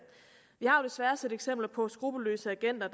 vi har desværre set eksempler på skruppelløse agenter